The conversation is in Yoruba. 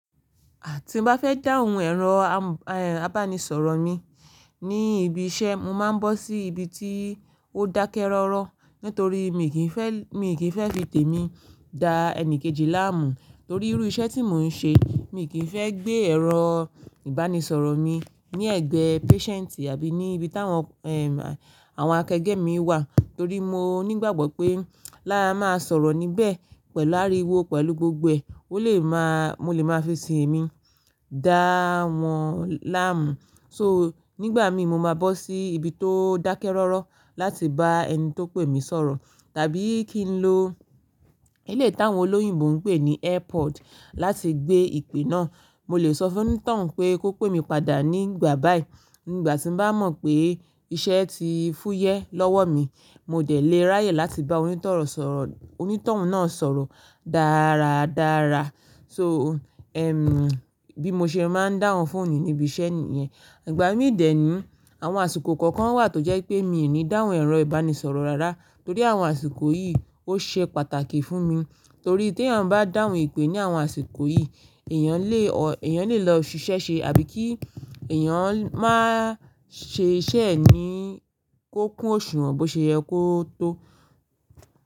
Àti bá fẹ́ dáhùn ẹ̀rọ am, ehn, ìbánisọ̀rọ̀ mi ní ibi iṣẹ́, mo máa ń bọ́ sí ibi tí ó dákẹ́ rọ́rọ́ nítorí mi kì í fẹ́, mi kì í fẹ́ fi tèmi dá ẹni kejì láàmú. Torí irú iṣẹ́ tí mò ń ṣe, mi kì í fẹ́ gbé ẹ̀rọ ìbánisọ̀rọ̀ mi ní ẹ̀gbẹ́ patient àbí ní ibi táwọn, ehn, àwọn akẹgbẹ́ mi wà, torí mo nígbàgbọ́ pé lára máa sọ̀rọ̀ níbẹ̀ pẹ̀lú ariwo, pẹ̀lú gbogbo ẹ, ó lè má, mo lè máa fi sì temi dá wọn láàmú. So, nígbà mi mo máa bọ́ sí ibi tó dákẹ́ rọ́rọ́ láti bá ẹni tó pè mí sọ̀rọ̀. Tàbí kí n lo eléyi tánwọn olóyìnbo ń pè ní airpod láti gbé ìpè náà. Mo lè sọ fún onítànwọn pé kó pè mí padà nígbà bá yìí. Nígbà tí bá mọ̀ pé iṣẹ́ ti fúyẹ́ lọ́wọ́ mi, mo dẹ̀ lè ráyè láti bá onítoun sọ̀rọ̀, onítoun náà sọ̀rọ̀ dáradára. So, ehn, bí mo ṣe máa ń dáhùn fóònù níbi iṣẹ́ yẹn. Ìgbà mí dẹ̀ ní, àwọn àsìkò kọ̀ọ̀kan wà tó jẹ́ pé mi ò ní dáhùn ẹ̀rọ ìbánisọ̀rọ̀ rárá torí àwọn àsìkò yìí ó ṣe pàtàkì fún mi. Torí tí èèyàn bá dáhùn ìpè ní àwọn àsìkò yìí, èèyàn lè o, èèyàn lè lọ ṣiṣẹ́ ṣe àbí kí èèyàn máa ṣẹ iṣẹ́ ẹ ní ko kún òṣùwọ̀n bó ṣe yẹ kó tó.